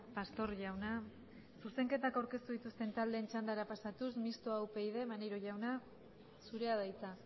pastor jauna zuzenketak aurkeztu dituzten taldeen txandara pasatuz mistoa upyd maneiro jauna zurea da hitza